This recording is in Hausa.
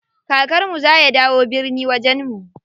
Kakar mu za ya dawo birni wajen mu.